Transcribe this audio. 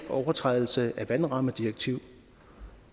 overtrædelse af vandrammedirektivet